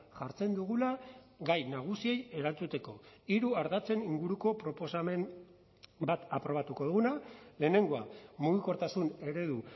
jartzen dugula gai nagusiei erantzuteko hiru ardatzen inguruko proposamen bat aprobatuko duguna lehenengoa mugikortasun eredu